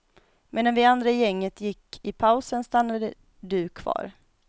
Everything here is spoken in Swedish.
Medan vi andra i gänget gick i pausen, stannade du kvar.